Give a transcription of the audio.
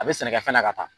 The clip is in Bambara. A bɛ sɛnɛkɛfɛn la ka taa